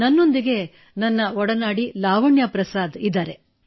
ನನ್ನೊಂದಿಗೆ ನನ್ನ ಒಡನಾಡಿ ಲಾವಣ್ಯ ಪ್ರಸಾದ್ ಇದ್ದಾರೆ